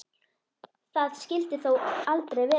Það skyldi þó aldrei vera?